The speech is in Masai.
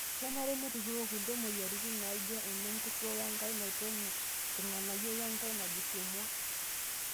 Kenare nituroo kulie moyiaritin naaijio ene nkurto wenkae naitong'u irng'anayio wenkae najus emwua.